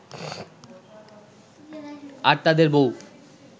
আর তাদের বউ